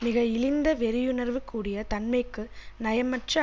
மிக இழிந்த வெறியுணர்வு கூடிய தன்மைக்கு நயமற்ற